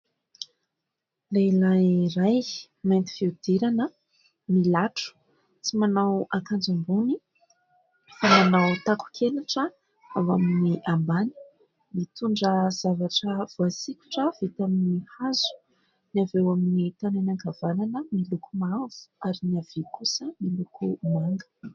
Lehilahy iray mainty fihodirana milatro, tsy manao akanjo ambony fa manao takon-kenatra ao amin'ny ambany. Mitondra zavatra voasikotra vita amin'ny hazo, ny avy eo amin'ny tanany ankavanana miloko mavo ary ny havia kosa miloko manga.